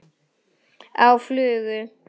Á flugu?